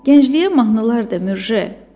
Gəncliyə mahnılar de, Mürje!